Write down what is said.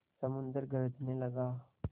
समुद्र गरजने लगा